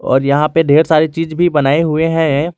और यहां पर ढेर सारी चीज भी बनाए हुए हैं।